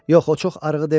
Yox, o çox arığı demirəm.